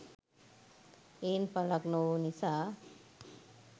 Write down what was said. එයින් පලක් නොවූ නිසා